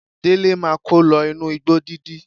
Délé máa kó lọ inú igbó dídí.